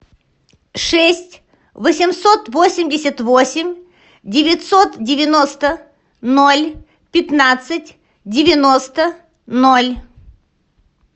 шесть восемьсот восемьдесят восемь девятьсот девяносто ноль пятнадцать девяносто ноль